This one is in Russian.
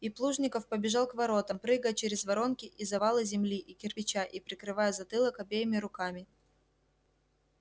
и плужников побежал к воротам прыгая через воронки и завалы земли и кирпича и прикрывая затылок обеими руками